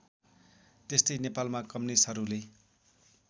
त्यस्तै नेपालमा कम्युनिस्टहरूले